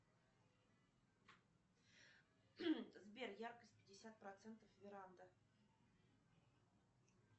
сбер яркость пятьдесят процентов веранда